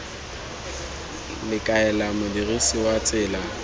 le kaela modirisi wa tsela